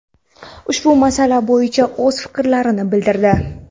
ushbu masala bo‘yicha o‘z fikrlarini bildirdi.